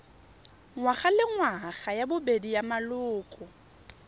ngwagalengwaga ya bobedi ya maloko